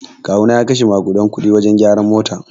Kawuna ya kashe makuɗan kuɗi wajen gyaran mota.